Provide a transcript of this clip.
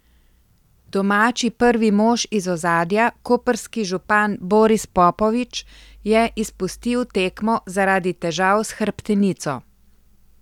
Domači prvi mož iz ozadja, koprski župan Boris Popović, je izpustil tekmo zaradi težav s hrbtenico.